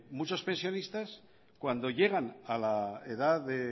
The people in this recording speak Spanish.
muchos pensionistas cuando llegan a la edad de